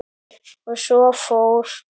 Og svo fór.